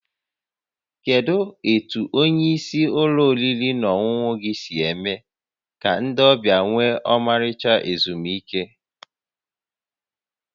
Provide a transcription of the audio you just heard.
Kedu etu onye isi ụlọ oriri na ọṅụṅụ gị si eme ka ndị ọbịa nwee ọmarịcha ezumike?